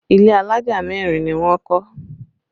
Ilé alájà mẹ́rin ni wọ́n kọ́